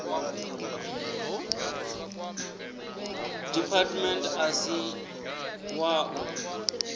department a si wa u